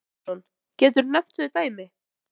Telma Tómasson: Geturðu nefnt þau dæmi?